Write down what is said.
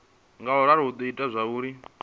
ngauralo hu do ita zwauri